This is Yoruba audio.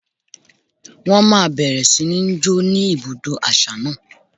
Wọ́n máa bẹ̀rẹ̀ sí ní ń jó ní ibùdó àṣà náà?